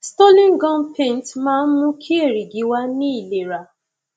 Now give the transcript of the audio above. stolin gum paint máa ń mú kí èrìgì wà ní ìlera